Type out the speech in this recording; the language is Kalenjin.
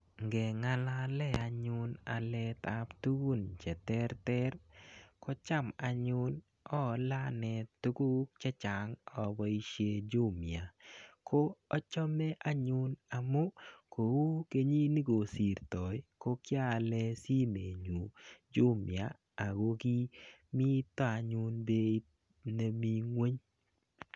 Ngeng'alale anyun aletap tugun che terter, kocham anyun aale anee tuguk chechang aboisie Jumia. Ko achame anyun amu, kou kenyit nekosirtoi ko kiaale simet nyun Jumia, ako kimito anyun beit nemii ng'uny.